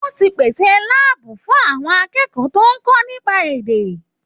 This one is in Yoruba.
Wọ́n ti pèsè láàbù fún àwọn akẹ́kọ̀ọ́ tó ń kọ́ nípa èdè.